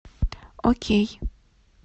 окей